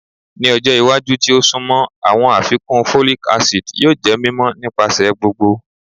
Ni ọjọ iwaju ti o sunmọ, awọn afikun folic acid yoo jẹ mimọ nipasẹ gbogbo